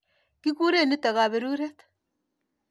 Kikure nitok kaperuret.